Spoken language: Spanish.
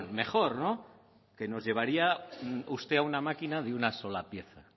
mejor no que nos llevaría a una máquina de una sola pieza